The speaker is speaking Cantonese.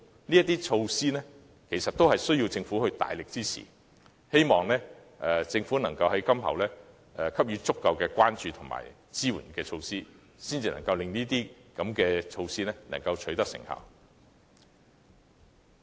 上述措施也需要政府大力支持，希望政府今後可以給予足夠關注和支援，令相關措施取得成效。